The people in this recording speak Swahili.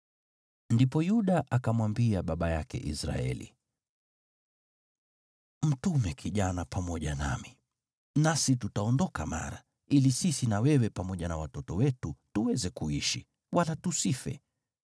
Ndipo Yuda akamwambia baba yake Israeli, “Mtume kijana pamoja nami, nasi tutaondoka mara, ili sisi na wewe pamoja na watoto wetu tuweze kuishi, wala tusife.